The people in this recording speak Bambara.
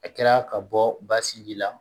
A kɛra ka bɔ ba sinji la